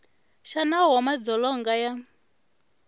xa nawu wa madzolonga ya